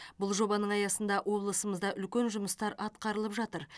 бұл жобаның аясында облысымызда үлкен жұмыстар атқарылып жатыр